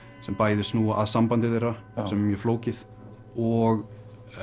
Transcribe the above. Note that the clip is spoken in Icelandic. sem bæði snúa að sambandi þeirra sem er mjög flókið og